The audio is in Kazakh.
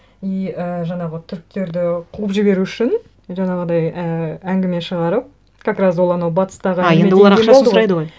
и і жаңағы түріктерді қуып жіберу үшін жаңағыдай ііі әңгіме шығарып как раз ол анау батыстағы а енді олар ақшасын сұрайды ғой